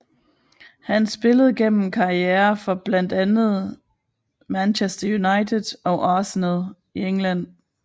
Han spillede gennem karriere for blandt andet Manchester United og Arsenal i England